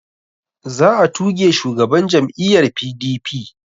Za a tuge shugaban jam'iyya PDP